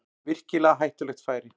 Virkilega hættulegt færi